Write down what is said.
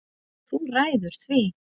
Þú ræður því.